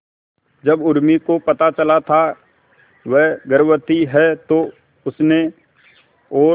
जब उर्मी को पता चला था वह गर्भवती है तो उसने और